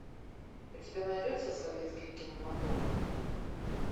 у тебя найдется советский кинематограф